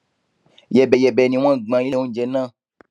yẹbẹyẹbẹ ni wọn gbọn ilé oúnjẹ náà